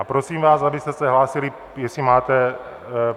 A prosím vás, abyste se hlásili, jestli máte...